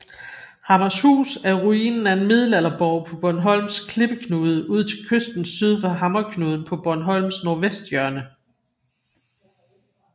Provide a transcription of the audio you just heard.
Hammershus er ruinen af en middelalderborg på Bornholms klippeknude ud til kysten syd for Hammerknuden på Bornholms nordvesthjørne